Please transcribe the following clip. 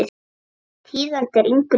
Þýðandi er Ingunn Snædal.